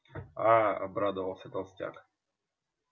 аа обрадовался толстяк